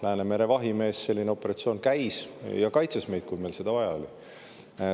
"Läänemere vahimees" – selline operatsioon käis ja kaitses meid, kui meil seda vaja oli.